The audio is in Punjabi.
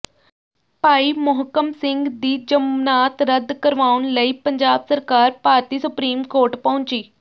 ਭਾਈ ਮੋਹਕਮ ਸਿੰਘ ਦੀ ਜ਼ਮਨਾਤ ਰੱਦ ਕਰਵਾਉਣ ਲਈ ਪੰਜਾਬ ਸਰਕਾਰ ਭਾਰਤੀ ਸੁਪਰੀਮ ਕੋਰਟ ਪਹੁੰਚੀ